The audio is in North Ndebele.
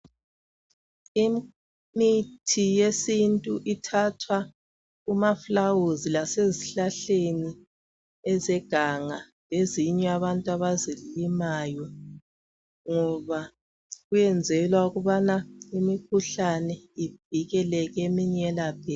Imithi yesintu ithathwa kumafulawuzi lasezihlahleni ezeganga lezinye abantu abazilimayo ngoba kuyenzelwa ukubana imkhuhlane ivikeleke eminye yelapheke.